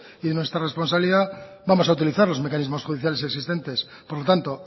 y de nuestra responsabilidad vamos a utilizar los mecanismos judiciales existentes por lo tanto